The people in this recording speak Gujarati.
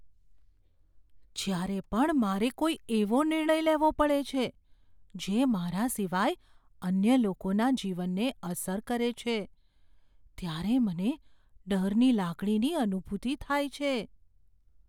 જ્યારે પણ મારે કોઈ એવો નિર્ણય લેવો પડે છે જે મારા સિવાય અન્ય લોકોના જીવનને અસર કરે છે ત્યારે મને ડરની લાગણીની અનુભૂતિ થાય છે.